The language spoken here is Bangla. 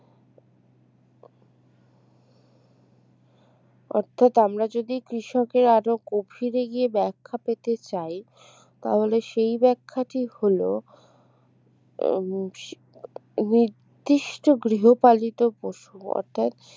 অর্থাৎ আমরা যদি কৃষকের আরো গভীরে গিয়ে ব্যাখ্যা পেতে চাই তাহলে সেই ব্যাখ্যাটি হল উম নির্দিষ্ট গৃহপালিত পশু অর্থাৎ